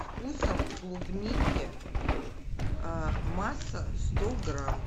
вкусом клубники масса сто грамм